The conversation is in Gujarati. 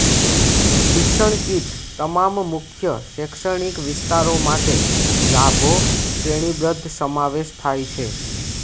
શિક્ષણ કીટ તમામ મુખ્ય શૈક્ષણિક વિસ્તારો માટે લાભો શ્રેણીબદ્ધ સમાવેશ થાય છે